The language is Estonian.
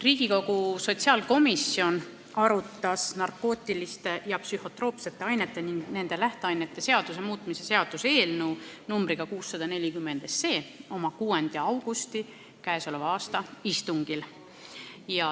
Riigikogu sotsiaalkomisjon arutas narkootiliste ja psühhotroopsete ainete ning nende lähteainete seaduse muutmise seaduse eelnõu numbriga 640 oma k.a 6. augusti istungil.